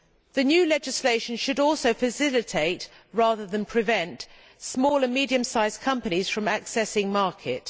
The new legislation should also facilitate rather than prevent small and medium sized companies from accessing the market.